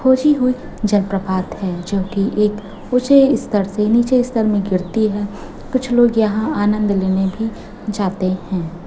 खुशी हुई जब प्रभात है जोकि एक उचे स्तर से नीचे स्तर में गिरती है कुछ लोग यहां आनंद लेने भी जाते हैं।